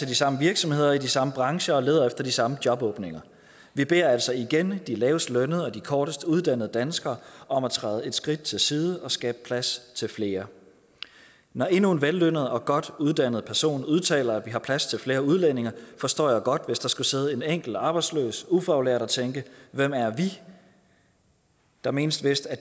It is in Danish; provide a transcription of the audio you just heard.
de samme virksomheder i de samme brancher og leder efter de samme jobåbninger vi beder altså igen de lavest lønnede og de kortest uddannede danskere om at træde et skridt til siden og skabe plads til flere når endnu en vellønnet og godt uddannet person udtaler at vi har plads til flere udlændinge forstår jeg godt hvis der skulle sidde en enkelt arbejdsløs ufaglært og tænke hvem er vi der menes vist at